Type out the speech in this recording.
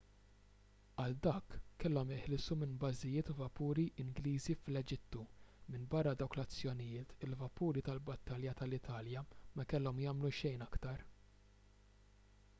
għal dak kellhom jeħilsu minn bażijiet u vapuri ingliżi fl-eġittu minbarra dawk l-azzjonijiet il-vapuri tal-battalja tal-italja ma kellhom jagħmlu xejn aktar